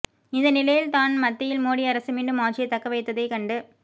இந்த நிலையில் தான் மத்தியில் மோடி அரசு மீண்டும் ஆட்சியை தக்கவைத்ததை கண்டு